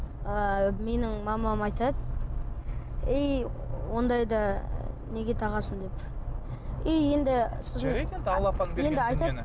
ы менің мамам айтады ей ондайды неге тағасың деп и енді жарайды енді алла апаң енді айтады